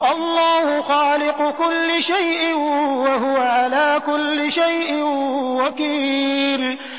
اللَّهُ خَالِقُ كُلِّ شَيْءٍ ۖ وَهُوَ عَلَىٰ كُلِّ شَيْءٍ وَكِيلٌ